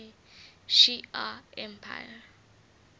shi ar empire